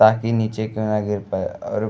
ताकि नीच के ना गिर पाए और --